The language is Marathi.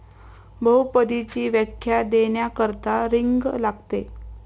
बहुपदीची व्याख्या देण्याकरता 'रिंग' लागते.